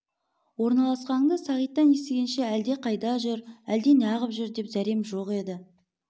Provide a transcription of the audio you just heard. орналасқаныңды сағиттан естігенше әлде қайда жүр әлде неғып жүр деп зәрем жоқ еді